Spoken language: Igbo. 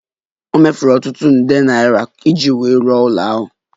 O mefuru ọtụtụ nde naira iji wuo ụlọala ahụ